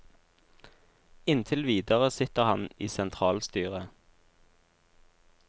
Inntil videre sitter han i sentralstyret.